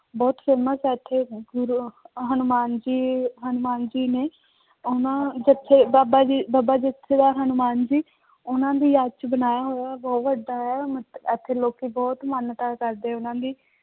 ਬਹੁਤ famous ਹੈ ਇੱਥੇ ਫਿਰ ਹਨੂੰਮਾਨ ਜੀ ਹਨੂੰਮਾਨ ਜੀ ਨੇ, ਉਹਨਾਂ ਬੱਚੇ ਬਾਬਾ ਜੀ ਬਾਬਾ ਹਨੂੰਮਾਨ ਜੀ ਉਹਨਾਂ ਦੀ ਯਾਦ ਚ ਬਣਾਇਆ ਹੋਇਆ ਬਹੁਤ ਵੱਡਾ ਹੈ ਇੱਥੇ ਲੋਕੀ ਬਹੁਤ ਮਾਨਤਾ ਕਰਦੇ ਉਹਨਾਂ ਦੀ।